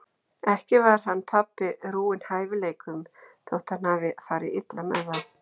Ekki var hann pabbi rúinn hæfileikum þótt hann hafi farið illa með þá.